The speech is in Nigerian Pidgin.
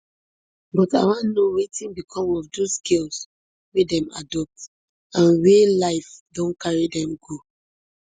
but i wan know wetin become of dose girls wey dem adopt and wia life don carry dem go